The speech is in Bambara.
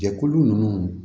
Jɛkulu ninnu